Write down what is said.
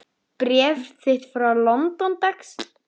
Bréf þitt frá London, dags.